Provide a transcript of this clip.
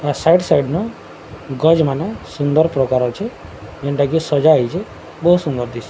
side side ନା ଗଜ ମନ ସୁନ୍ଦର ପ୍ରକାର ଅଛି ଯେନ୍ତାକି ସଜ ହେଇଛି ବହୁତ ସୁନ୍ଦର ଦିଶେ --